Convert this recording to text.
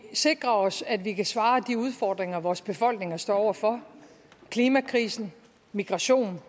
sikrer os at vi kan svare på de udfordringer vores befolkninger står over for klimakrisen migration